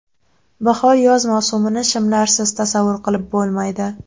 Bahor-yoz mavsumini shimlarsiz tasavvur qilib bo‘lmaydi.